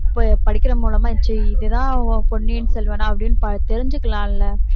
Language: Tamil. இப்ப படிக்கிறது மூலமா இதுதான் பொன்னியின் செல்வனா அப்படின்னு தெரிஞ்சுக்கலாம் இல்ல